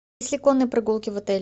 есть ли конные прогулки в отеле